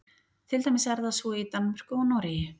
til dæmis er það svo í danmörku og noregi